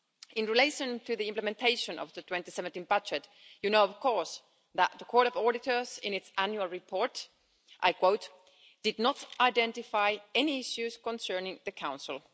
In relation to the implementation of the 2017 budget, you know of course that the Court of Auditors in its annual report, I quote did not identify any issues concerning the Council'.